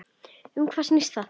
Og um hvað snýst það?